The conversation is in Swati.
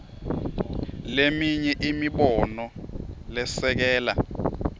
leminye imibono lesekela